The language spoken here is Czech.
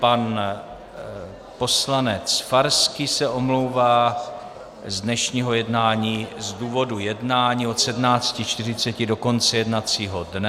Pan poslanec Farský se omlouvá z dnešního jednání z důvodu jednání od 17.40 do konce jednacího dne.